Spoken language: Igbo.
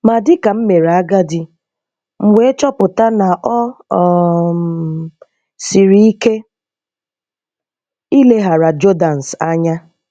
Ma dịka m meere agadi, m wee chọpụta na ọ um sịrị ike ileghara Jordans anya.